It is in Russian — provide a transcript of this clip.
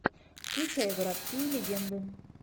включай городские легенды